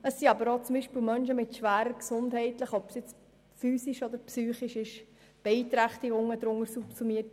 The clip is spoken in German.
Darunter sind aber beispielsweise auch Menschen mit schweren gesundheitlichen, physischen oder psychischen Beeinträchtigungen subsummiert.